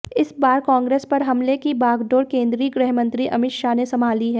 इस बार कांग्रेस पर हमले की बागडोर केंद्रीय गृह मंत्री अमित शाह ने संभाली है